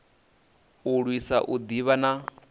u lwisa u ḓivha na